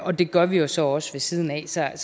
og det gør vi jo så også ved siden af så jeg